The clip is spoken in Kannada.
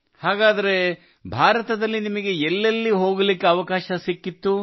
ಹಾಗಾದರೆ ಭಾರತದಲ್ಲಿ ನಿಮಗೆ ಎಲ್ಲೆಲ್ಲಿ ಹೋಗಲು ಅವಕಾಶ ಲಭಿಸಿತ್ತು